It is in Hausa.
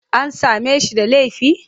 An same shi da laifi?